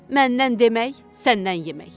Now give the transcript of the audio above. Məndən demək, səndən yemək.